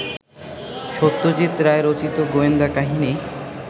সত্যজিৎ রায় রচিত গোয়েন্দা কাহিনি